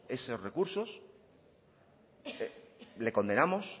esos recursos le condenamos